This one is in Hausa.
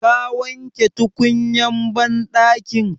Ka wanke tukunyan banɗakin?